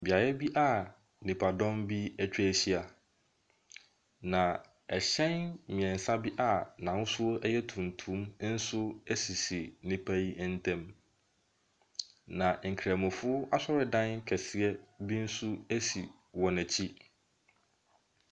Beaeɛ bi a nnipadɔm bi atwa ahyia, na hyɛn mmiɛnsa bi a n’ahosuo ɛyɛ tuntum nso asisi nnipa yi ɛntam. Na nkramofo asɔredan kɛseɛ bi nso asi wɔn akyi.